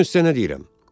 Görün sizə nə deyirəm.